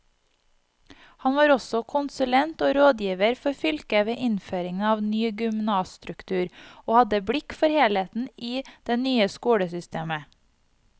Han var også konsulent og rådgiver for fylket ved innføringen av ny gymnasstruktur, og hadde blikk for helheten i det nye skolesystemet.